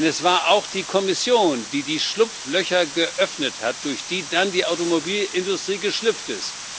Denn es war auch die Kommission, die die Schlupflöcher geöffnet hat, durch die dann die Automobilindustrie geschlüpft ist.